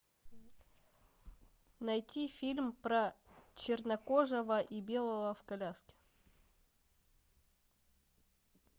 найти фильм про чернокожего и белого в коляске